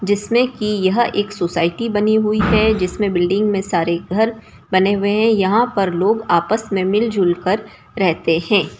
जिसमे कि यह एक सोसायटी बनी हुई है जिसमे बिल्डिंग में सारे घर बने हुए है यहां पर लोग आपस में मिल जुल कर रहते है।